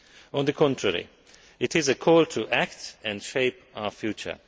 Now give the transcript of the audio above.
On the contrary, it is a call to act and shape our future.